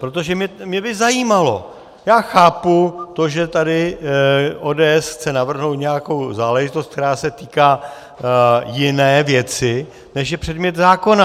Protože mě by zajímalo - já chápu to, že tady ODS chce navrhnout nějakou záležitost, která se týká jiné věci, než je předmět zákona.